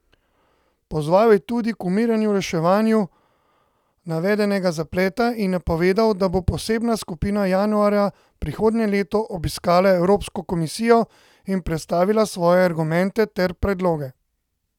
Pozval je tudi k umirjenemu reševanju navedenega zapleta in napovedal, da bo posebna skupina januarja prihodnje leto obiskala Evropsko komisijo in predstavila svoje argumente ter predloge.